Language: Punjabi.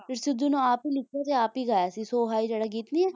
ਇਹ ਸਿੱਧੂ ਨੇ ਆਪ ਹੀ ਲਿਖਿਆ ਸੀ ਤੇ ਆਪ ਹੀ ਗਿਆ ਸੀ ਸੋ ਹਾਈ ਜਿਹੜਾ ਗੀਤ ਨਹੀਂ ਹੈ